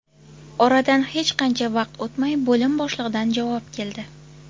Oradan hech qancha vaqt o‘tmay bo‘lim boshlig‘idan javob keldi.